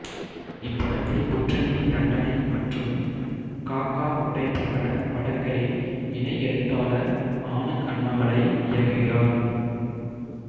இப்படத்தை குற்றமே தண்டனை மற்றும் காக்கா முட்டை போன்ற படங்களின் இணை எழுத்தாளர் ஆனந்த் அண்ணாமலை இயக்குகிறார்